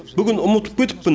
бүгін ұмытып кетіппін